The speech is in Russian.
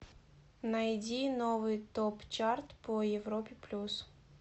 найди новый топ чарт по европе плюс